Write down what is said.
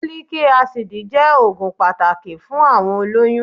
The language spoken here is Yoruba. Folic acid jẹ́ òògùn pàtàkì fún àwọn olóyún